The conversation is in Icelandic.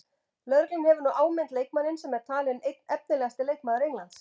Lögreglan hefur nú áminnt leikmanninn sem er talinn einn efnilegasti leikmaður Englands.